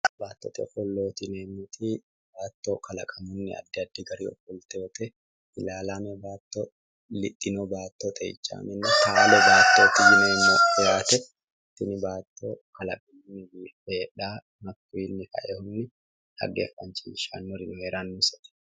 Baattote ofollooti yineemmoti, baatto kalaqamunni addi addi dani ofoltewoote ilaalaame, lixxino baatto hattono ilaalaame xeichaame taalo baatto yineemmo yaate tini baatto hatto kalaqamunni biiffe heedhawo hakkuyiinni kaeehunni halchishannori heerannosete.